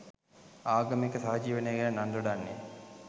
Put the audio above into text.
ආගමික සහජීවනය ගැන නන් දොඩන්නේ